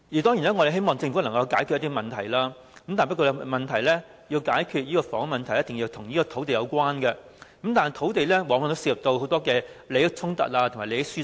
當然，我們希望政府能解決房屋問題，但要解決這問題，一定跟土地有關，而土地往往涉及利益衝突和利益輸送。